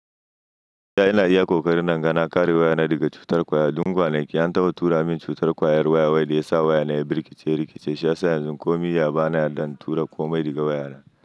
Ina yana iya ƙoƙari nan gana kare wayana daga cutar ƙwayal Dun gwanaki an taɓa tura min cutar ƙwayar waya wanda ya sa wayana ya birkice rikice. Shi yasa yanzu ko mirya ba na yarda in tura komai diga wayana.